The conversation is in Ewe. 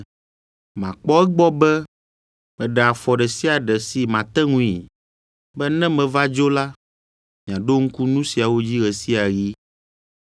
Makpɔ egbɔ be meɖe afɔ ɖe sia ɖe si mate ŋui, be ne meva dzo la, miaɖo ŋku nu siawo dzi ɣe sia ɣi.